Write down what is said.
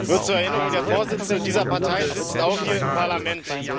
Nur zur Erinnerung Der Vorsitzende dieser Partei sitzt auch hier im Parlament.